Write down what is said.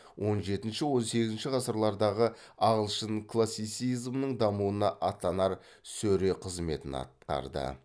он жетінші он сегізінші ғасырлардағы ағылшын классицизмінің дамуына аттанар сөре қызметін атқарды